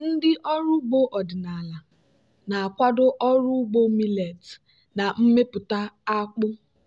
ndị ọrụ ugbo ọdịnala na-akwado ọrụ ugbo millet na mmepụta akpụ.